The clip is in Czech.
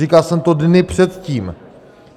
Říkal jsem to dny předtím.